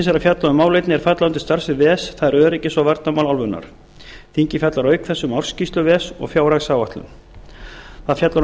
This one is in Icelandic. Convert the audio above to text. er að fjalla um málefni er falla undir starfssvið ves það er öryggis og varnarmál álfunnar þingið fjallar auk þess um ársskýrslur ves og fjárhagsáætlun það fjallar um